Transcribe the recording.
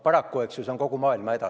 Paraku on see täna kogu maailma häda.